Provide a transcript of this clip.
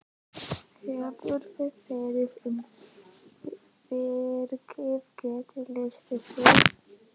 Hefurðu farið um virkið, geturðu lýst því?